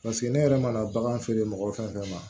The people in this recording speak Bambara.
ne yɛrɛ mana bagan feere mɔgɔ fɛn fɛn ma